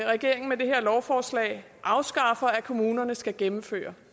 regeringen med det her lovforslag afskaffer at kommunerne skal gennemføre